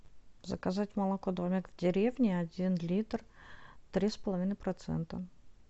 заказать молоко домик в деревне один литр три с половиной процента